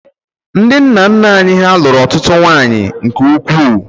Ndị nna nna anyị ha lụrụ ọtụtụ nwanyị nke ukwuu